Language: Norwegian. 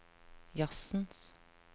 jazzens